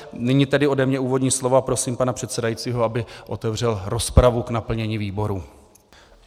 Nyní tedy ode mě úvodní slovo a prosím pana předsedajícího, aby otevřel rozpravu k naplnění výborů.